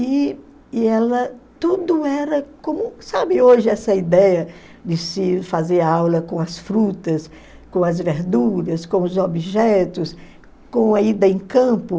E e ela, tudo era como, sabe hoje essa ideia de se fazer aula com as frutas, com as verduras, com os objetos, com a ida em campo?